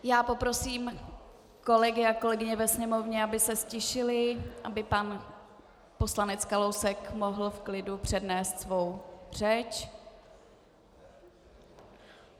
Já poprosím kolegy a kolegyně ve sněmovně, aby se ztišili, aby pan poslanec Kalousek mohl v klidu přednést svou řeč.